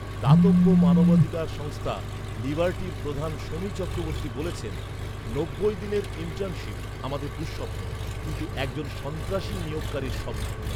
দাতব্য মানবাধিকার সংস্থা লিবার্টির প্রধান শমী চক্রবর্তী বলেছেন, "নব্বই দিনের ইণ্টার্নশিপ, আমাদের দুঃস্বপ্ন। কিন্তু একজন সন্ত্রাসী নিয়োগকারীর স্বপ্ন।"